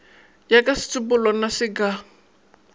ya ka setsopolwana se ka